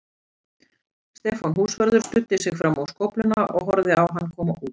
Stefán húsvörður studdi sig fram á skófluna og horfði á hann koma út.